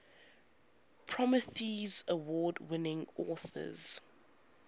prometheus award winning authors